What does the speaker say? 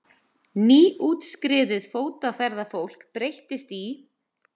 Nýútskriðið fótaferðafólk breyttist í